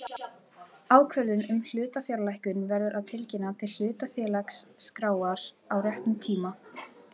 Ákvörðun um hlutafjárlækkun verður að tilkynna til hlutafélagaskrár á réttum tíma.